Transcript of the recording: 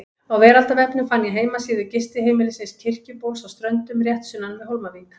Á veraldarvefnum fann ég heimasíðu gistiheimilisins Kirkjubóls á Ströndum, rétt sunnan við Hólmavík.